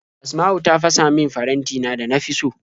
Asma'u ta fasa min farantina da na fi so.